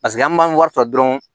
Paseke an b'an wari ta dɔrɔn